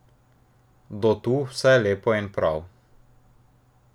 Do tu vse lepo in prav.